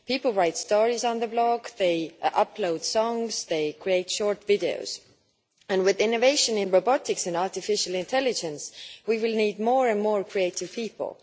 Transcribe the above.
People write stories on their blog, they upload songs, they create short videos, and with innovation in robotics and artificial intelligence we will need more and more creative people.